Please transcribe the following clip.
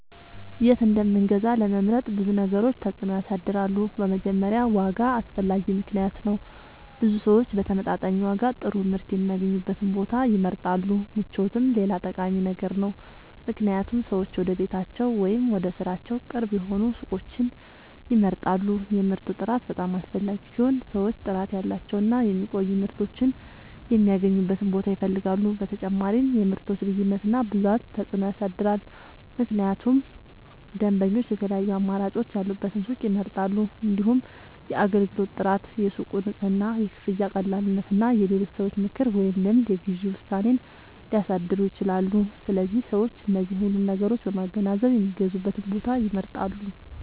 የት እንደምንገዛ ለመምረጥ ብዙ ነገሮች ተጽዕኖ ያሳድራሉ። በመጀመሪያ ዋጋ አስፈላጊ ምክንያት ነው፤ ብዙ ሰዎች በተመጣጣኝ ዋጋ ጥሩ ምርት የሚያገኙበትን ቦታ ይመርጣሉ። ምቾትም ሌላ ጠቃሚ ነገር ነው፣ ምክንያቱም ሰዎች ወደ ቤታቸው ወይም ወደ ሥራቸው ቅርብ የሆኑ ሱቆችን ይመርጣሉ። የምርቱ ጥራት በጣም አስፈላጊ ሲሆን ሰዎች ጥራት ያላቸውን እና የሚቆዩ ምርቶችን የሚያገኙበትን ቦታ ይፈልጋሉ። በተጨማሪም የምርቶች ልዩነት እና ብዛት ተጽዕኖ ያሳድራል፣ ምክንያቱም ደንበኞች የተለያዩ አማራጮች ያሉበትን ሱቅ ይመርጣሉ። እንዲሁም የአገልግሎት ጥራት፣ የሱቁ ንጽህና፣ የክፍያ ቀላልነት እና የሌሎች ሰዎች ምክር ወይም ልምድ የግዢ ውሳኔን ሊያሳድሩ ይችላሉ። ስለዚህ ሰዎች እነዚህን ሁሉ ነገሮች በማገናዘብ የሚገዙበትን ቦታ ይመርጣሉ።